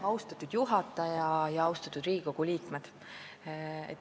Austatud juhataja ja austatud Riigikogu liikmed!